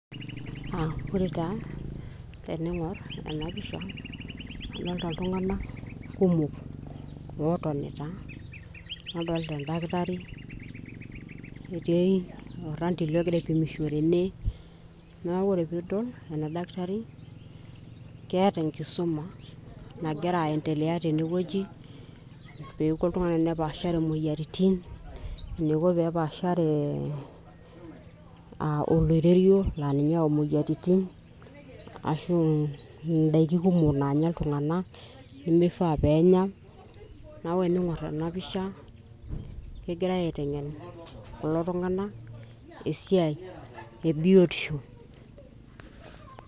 uh, ore taa tening'orr ena pisha idolta iltung'anak kumok lootonita nadolta endakitari etii orrandile ogira aipimisho tene naku ore piidol ena dakitari keeta enkisuma nagira aendelea tenewueji peeku oltung'ani enepaashare imoyiaritin eniko peepashare uh, oloirerio laa ninye oyau imoyiaritin ashu indaiki kumok naanya iltung'anak nemifaa peenya naku ening'orr ena pisha kegirae aiteng'en kulo tung'anak esiai ebiotisho.